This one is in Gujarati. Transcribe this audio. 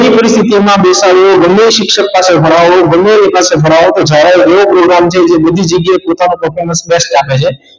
બેસાડો ગમે તે શિક્ષક પાસે ભણાવો ગમે એની પાસે ભણાવો પણ જાવા એ એક એવો program જે બધી જગ્યાએ પોતાનું performance best આપે છે